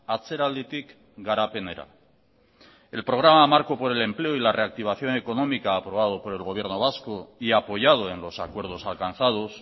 atzeralditik garapenera el programa marco por el empleo y la reactivación económica aprobado por el gobierno vasco y apoyado en los acuerdos alcanzados